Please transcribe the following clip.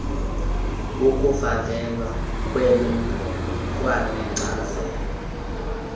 ukufakelwa kweenombolo kwanenkcazelo